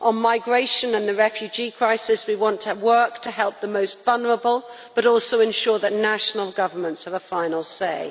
On migration and the refugee crisis, we want to work to help the most vulnerable, but also ensure that national governments have a final say.